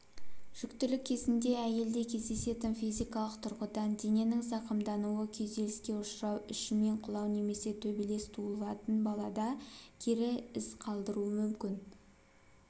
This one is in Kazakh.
жүктілік кезінде әйелде кездесетін физикалық тұрғыдан дененің зақымдануы күйзеліске ұшырау ішімен құлау немесе төбелес туылатын балада кері із қалдыруы мүмкін